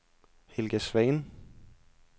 Helga Svane